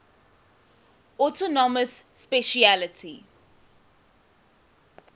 autonomous specialty